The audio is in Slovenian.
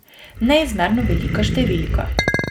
Neizmerno velika številka.